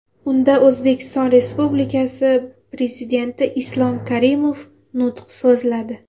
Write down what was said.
Unda O‘zbekiston Respublikasi Prezidenti Islom Karimov nutq so‘zladi.